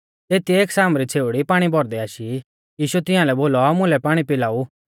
तेतिऐ एक सामरी छ़ेउड़ी पाणी भौरदै आशी यीशुऐ तियांलै बोलौ मुलै पाणी पिलाऊ